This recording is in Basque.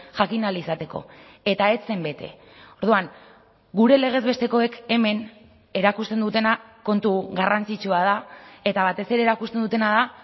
jakin ahal izateko eta ez zen bete orduan gure legez bestekoek hemen erakusten dutena kontu garrantzitsua da eta batez ere erakusten dutena da